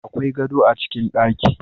Akwai gado a cikin ɗaki